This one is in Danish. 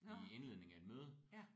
Nåh ja